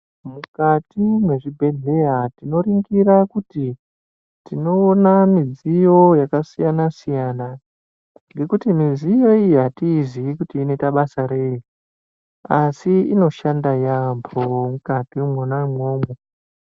Mukati mezvibhedheya tinoningira kuti tinoona midziyo yakasiyana siyana nekuti midziyo iyi hatiiziyi kuti inoita basa reyi asi inoshanda yamho mukati mwonaimwomwo.